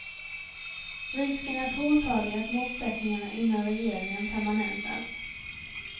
Risken är påtaglig att motsättningarna inom regeringen permanentas.